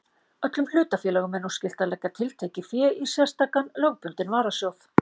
Öllum hlutafélögum er nú skylt að leggja tiltekið fé í sérstakan lögbundinn varasjóð.